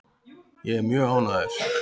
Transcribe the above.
Ég er mjög ánægður.